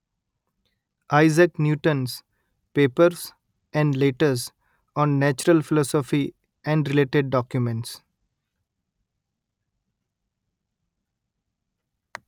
Isaac Newton's papers and letters on natural philosophy and related documents